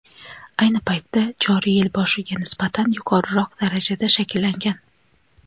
ayni paytda joriy yil boshiga nisbatan yuqoriroq darajada shakllangan.